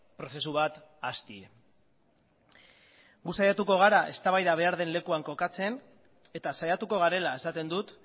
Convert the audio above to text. prozesu bat hastea gu saiatuko gara eztabaida behar den lekuan kokatzen eta saiatuko garela esaten dut